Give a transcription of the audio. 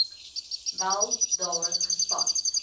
wel daar gespan